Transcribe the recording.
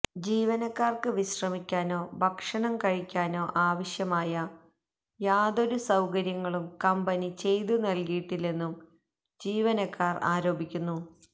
ജീവനക്കാർക്ക് വിശ്രമിക്കാനോ ഭക്ഷണം കഴിക്കാനോ ആവശ്യമായ യാതൊരു സൌകര്യങ്ങളും കമ്പനി ചെയ്ത് നൽകിയിട്ടില്ലെന്നും ജീവനക്കാർ ആരോപിക്കുന്നു